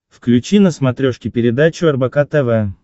включи на смотрешке передачу рбк тв